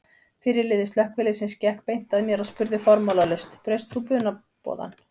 Fyrirliði slökkviliðsins gekk beint að mér og spurði formálalaust: Braust þú brunaboðann?